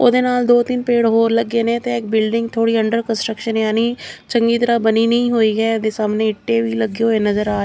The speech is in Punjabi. ਉਹਦੇ ਨਾਲ ਦੋ ਤਿੰਨ ਪੇੜ ਹੋਰ ਲੱਗੇ ਨੇ ਤੇ ਇਹ ਬਿਲਡਿੰਗ ਥੋੜੀ ਅੰਡਰ ਕੰਸਟਰਕਸ਼ਨ ਯਾਨੀ ਚੰਗੀ ਤਰ੍ਹਾਂ ਬਣੀ ਨਹੀਂ ਹੋਈ ਹੈ ਇਹਦੇ ਸਾਹਮਣੇ ਇੱਟੇ ਵੀ ਲੱਗੇ ਹੋਏ ਨਜ਼ਰ ਆ --